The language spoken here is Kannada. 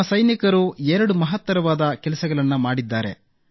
ನಮ್ಮ ಸೈನಿಕರು 2 ಮಹತ್ತರವಾದ ಕೆಲಸಗಳನ್ನು ಮಾಡಿದ್ದಾರೆ